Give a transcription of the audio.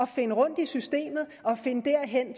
finde rundt i systemet og finde derhen